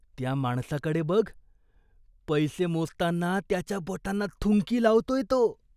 त्या माणसाकडे बघ. पैसे मोजताना त्याच्या बोटांना थुंकी लावतोय तो.